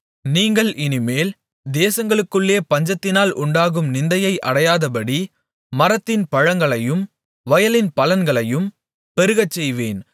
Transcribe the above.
நீங்கள் இனிமேல் தேசங்களுக்குள்ளே பஞ்சத்தினால் உண்டாகும் நிந்தையை அடையாதபடி மரத்தின் பழங்களையும் வயலின் பலன்களையும் பெருகச்செய்வேன்